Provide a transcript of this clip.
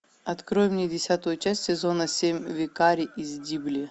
открой мне десятую часть сезона семь викарий из дибли